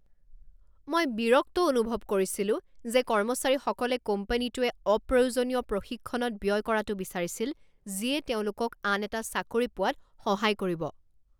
মই বিৰক্ত অনুভৱ কৰিছিলো যে কৰ্মচাৰীসকলে কোম্পানীটোৱে অপ্ৰয়োজনীয় প্ৰশিক্ষণত ব্যয় কৰাটো বিচাৰিছিল যিয়ে তেওঁলোকক আন এটা চাকৰি পোৱাত সহায় কৰিব।